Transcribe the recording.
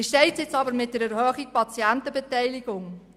Wie steht es mit der Erhöhung der Patientenbeteiligung?